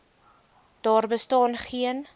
daar bestaan geen